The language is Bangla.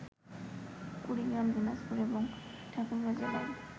কুড়িগ্রাম, দিনাজপুর এবং ঠাকুরগাঁ জেলায়